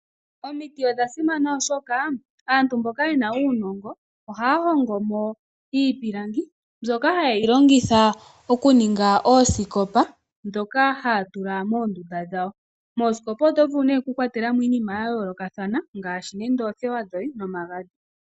Omiti odha simana, oshoka aantu mboka ye na uunongo ohaya hongo mo iipilangi mbyoka haye yi longitha okuninga oosikopa ndhoka haa tula moondunda dhawo. Moosikopa oto vulu okukwatela mo iinima ya yoolokathana ngaashi oothewa dhoye nomagadhi.